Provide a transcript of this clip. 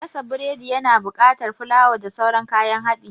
Gasa burodi ya na buƙatar fulawa da sauran kayan haɗi